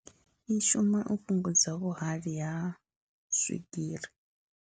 I shuma u fhungudza vhuhali ha swigiri.